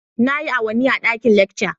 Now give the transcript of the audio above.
Nayi awanni a ɗaƙin lekca